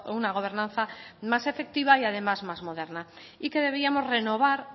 una gobernanza más efectiva y además más moderna y que debíamos renovar